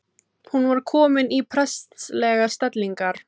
Hún var komin í prestslegar stellingar.